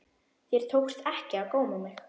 Þér tókst ekki að góma mig.